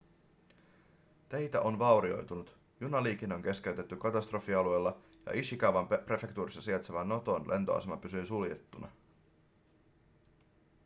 teitä on vaurioitunut junaliikenne on keskeytetty katastrofialueella ja ishikawan prefektuurissa sijaitseva noton lentoasema pysyy suljettuna